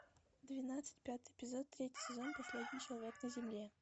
двенадцать пятый эпизод третий сезон последний человек на земле